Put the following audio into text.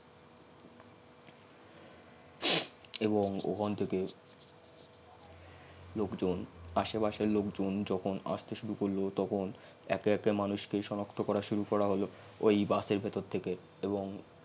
এবং ওখান থেকে লোকজন আসে পাসের লোকজন যখন স্তে সুরু করল তখন একে একে মানুষ কে সনাক্ত করা সুরু করা হল ওই bus এর ভেতর থেকে